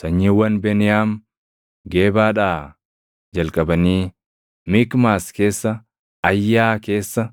Sanyiiwwan Beniyaam Gebaadhaa jalqabanii Mikmaas keessa, Ayyaa keessa,